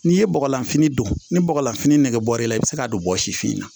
N'i ye bɔgɔlan fini don ni bɔgɔlanfini nɛgɛ bɔrɛ la i bɛ se k'a don bɔgɔ si fin na